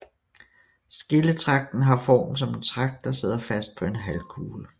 Skilletragten har form som en tragt der sidder fast på en halvkugle